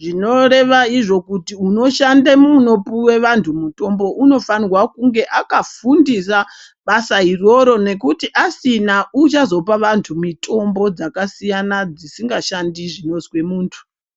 zvinoreva izvo kuti unoshande munopuwe vanhu mutombo unofamhwa kunge akafundira basa iroro nekuti asina uchazopa vantu mitombo dzakasiyana dzisingashandi zvinozwe muntu.